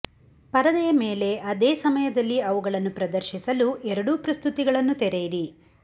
ಪರದೆಯ ಮೇಲೆ ಅದೇ ಸಮಯದಲ್ಲಿ ಅವುಗಳನ್ನು ಪ್ರದರ್ಶಿಸಲು ಎರಡೂ ಪ್ರಸ್ತುತಿಗಳನ್ನು ತೆರೆಯಿರಿ